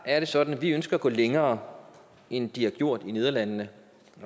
er det sådan at vi ønsker at gå længere end de har gjort i nederlandene